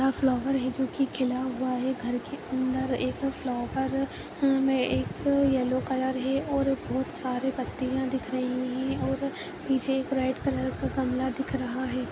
यहाँ फ्लावर है जोकि खिला हुआ है घर के अंदर एक फ्लावर अ-एक येलो कलर है एक और बहोत सारी पत्तियां दिख रही हैं और पीछे एक रेड कलर का गमला दिख रहा है।